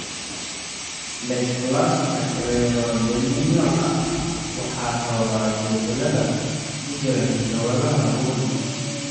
dysplasika Cleidocranialka waxaa sababa isbeddellada ku jira hidda-wadaha RUNX2 (CBFA hal).